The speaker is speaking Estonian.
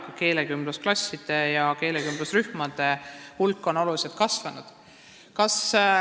Ka keelekümblusklasside ja keelekümblusrühmade hulk on oluliselt kasvanud.